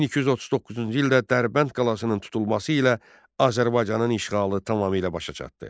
1239-cu ildə Dərbənd qalasının tutulması ilə Azərbaycanın işğalı tamamilə başa çatdı.